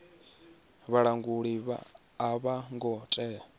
vhalanguli a vho ngo tea